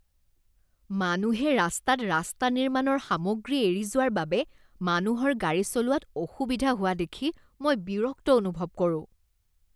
মানুহে ৰাস্তাত ৰাস্তা নিৰ্মাণৰ সামগ্ৰী এৰি যোৱাৰ বাবে মানুহৰ গাড়ী চলোৱাত অসুবিধা হোৱা দেখি মই বিৰক্ত অনুভৱ কৰোঁ।